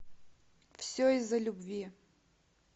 все из за любви